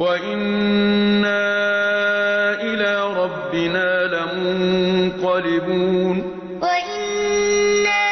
وَإِنَّا إِلَىٰ رَبِّنَا لَمُنقَلِبُونَ وَإِنَّا